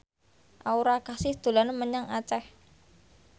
Aura Kasih dolan menyang Aceh